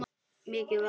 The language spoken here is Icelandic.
Mikið var!